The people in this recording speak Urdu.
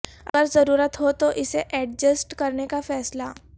اگر ضرورت ہو تو اسے ایڈجسٹ کرنے کا فیصلہ